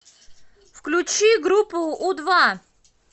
включи группу у два